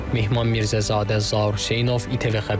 Mehman Mirzəzadə, Zaur Hüseynov, İTV Xəbər.